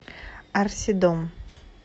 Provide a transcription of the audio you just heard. арсидом